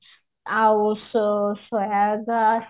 ଆଉ ସ ସ ଗ